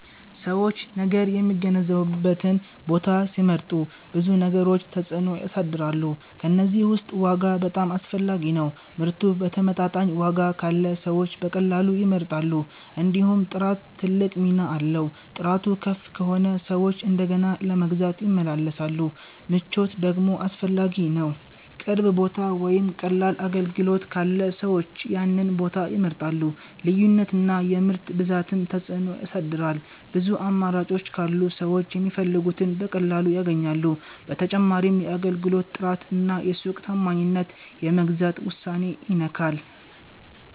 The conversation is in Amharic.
ሰዎች ነገር የሚገዙበትን ቦታ ሲመርጡ ብዙ ነገሮች ተጽዕኖ ያሳድራሉ። ከእነዚህ ውስጥ ዋጋ በጣም አስፈላጊ ነው፤ ምርቱ በተመጣጣኝ ዋጋ ካለ ሰዎች በቀላሉ ይመርጣሉ። እንዲሁም ጥራት ትልቅ ሚና አለው፤ ጥራቱ ከፍ ከሆነ ሰዎች እንደገና ለመግዛት ይመለሳሉ። ምቾት ደግሞ አስፈላጊ ነው፣ ቅርብ ቦታ ወይም ቀላል አገልግሎት ካለ ሰዎች ያንን ቦታ ይመርጣሉ። ልዩነት እና የምርት ብዛትም ተጽዕኖ ያሳድራል፤ ብዙ አማራጮች ካሉ ሰዎች የሚፈልጉትን በቀላሉ ያገኛሉ። በተጨማሪም የአገልግሎት ጥራት እና የሱቅ ታማኝነት የመግዛት ውሳኔን ይነካል።